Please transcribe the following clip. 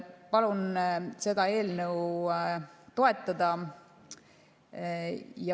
Palun seda eelnõu toetada!